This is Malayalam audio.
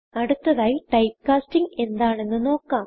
അടുത്തതായി ടൈപ്പ്കാസ്റ്റിംഗ് എന്താണെന്ന് നോക്കാം